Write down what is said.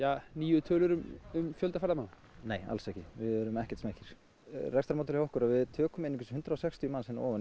nýju tölur um fjölda ferðamanna nei alls ekki við erum ekkert smeykir rekstrarmódelið hjá okkur er við tökum einungis hundrað og sextíu manns hérna ofan